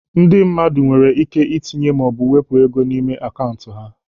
Ndị mmadụ nwere ike itinye maọbụ wepụ ego n'ime akaụntụ ha.